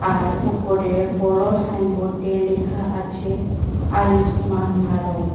আর ওপরে বড় সাইনবোর্ডে লেখা আছে আয়ুষ্মান ভারত।